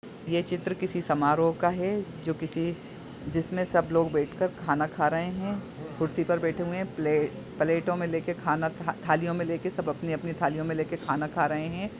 ये चित्र किसी समरोह का है जो किसी जिसमें सब लोग बैठ कर खाना खा रहे हैं कुर्सी पर बैठे हुए हैं प्ले-प्लेटो में लेकर खाना था-थालियों में लेके सब अपने अपने थालियों में लेके खाना खा रहे हैं।